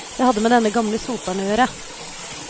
Det hadde med denne gamle soperen å gjøre.